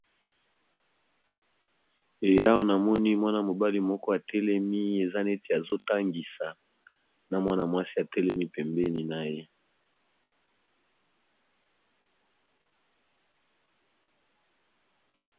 Awa namoni Mwana mobali moko atelemi eza neti azo tangisa n'a Mwana mwasi atelemi pembeni naye.